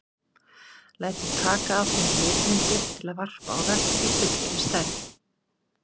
Lætur taka af þeim litmyndir til að varpa á vegg í fullri stærð.